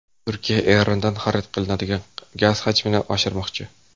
Turkiya Erondan xarid qilinadigan gaz hajmini oshirmoqchi.